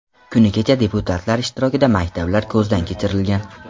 Kuni kecha deputatlar ishtirokida maktablar ko‘zdan kechirilgan.